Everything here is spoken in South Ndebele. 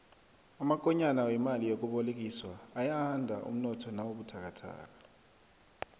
amakonyana wemali yokubolekiswa ayanda umnotho nawubuthakathaka